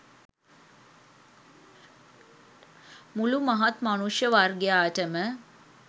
මුළු මහත් මනුෂ්‍ය වර්ගයාට ම